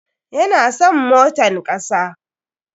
Ya na son motan kasa.